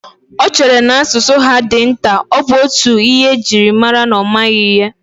Ọ chere na asụsụ be ha dị nta, ọ bụ otú ihe ji mara na ọ maghị ihe